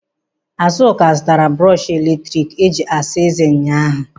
Azụka zụtara brọshị eletrik e ji asa ezé ụnyaahụ.